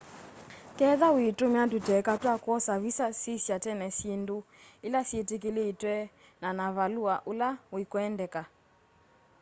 ketha wĩtũmĩa tũteka twa kwosa vĩsa sĩsya tene syĩndũ ĩla syĩtĩkĩlĩtwe na na valũa ũla wĩkwendeka